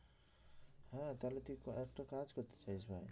তাহলে তুই একটা কাজ করতে চাস ভাই